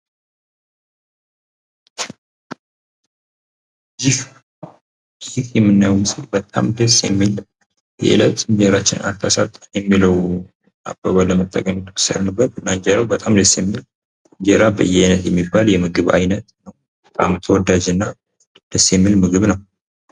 ይህ የምናየው ምስል በጣም ደስ የሚል የእለት እንጀራችንን አታሳጣን የሚለው አባባል ለመጠቀም የወሰድንበት እና እንጀራው በጣም ደስ የሚል እንጀራ በያይነት የሚባል የምግብ አይነት ነው ። በጣም ተወዳጅ እና ደስ የሚል ምግብ ነው ።